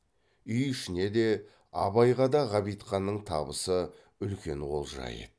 үй ішіне де абайға да ғабитханның табысы үлкен олжа еді